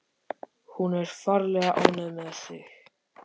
Hún er ferlega ánægð með þig.